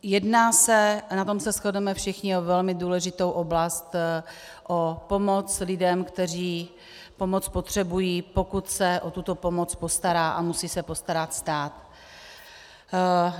Jedná se, a na tom shodneme všichni, o velmi důležitou oblast, o pomoc lidem, kteří pomoc potřebují, pokud se o tuto pomoc postará a musí se postarat stát.